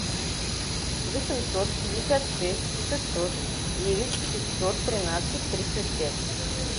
восемьсот пятьдесят шесть шестьсот девять пятьсот тринадцать тридцать пять